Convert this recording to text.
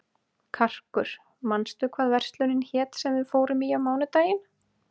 Karkur, manstu hvað verslunin hét sem við fórum í á mánudaginn?